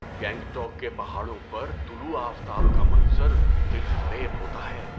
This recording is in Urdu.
گینگٹوک کے پہاڑوں پر طلوع آفتاب کا منظر دلفریب ہوتا ہے۔